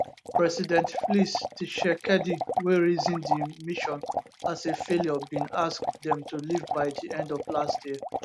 president flix tshisekedi wey reason di mission as a failure bin ask dem to leave by di end of last year